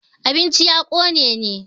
abincin ya Kone ne?